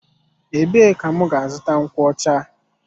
Ebee ka m gá-azụta nkwocha?